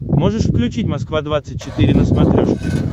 можешь включить москва двадцать четыре на смотрешке